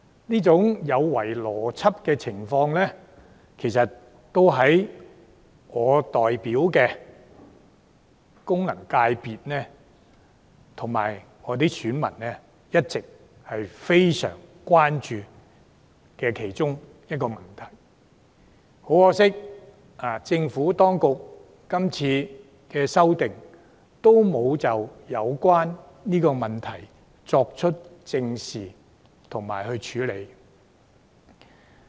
這種有違邏輯的情況，其實亦是我及我所代表功能界別的選民一直非常關注的問題之一，可惜政府當局是次修訂並未有正視及處理這個問題。